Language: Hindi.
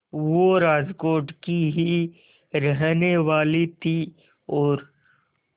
वो राजकोट की ही रहने वाली थीं और